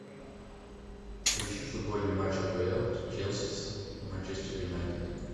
поищи футбольный матч апл челси с манчестер юнайтед